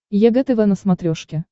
егэ тв на смотрешке